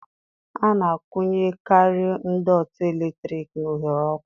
A na-akwunyekarị ndọtị eletrik na oghere ọkụ